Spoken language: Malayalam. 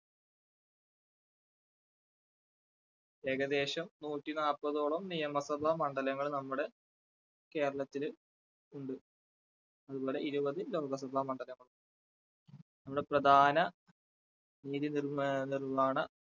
ഏകദേശം നൂറ്റിനാല്പതോളം നിയമ സഭ മണ്ഡലങ്ങൾ നമ്മുടെ കേരളത്തില് ഉണ്ട് അതുപോലെ ഇരുപത് ലോകസഭാ മണ്ഡലങ്ങളും നമ്മുടെ പ്രധാന നീതിനിർവ്വ~നിർവ്വഹണ